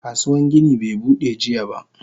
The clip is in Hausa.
Kasuwan gini be Bude jiya ba.